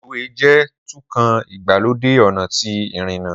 Reluwe jẹ tun kan igbalode ọna ti irina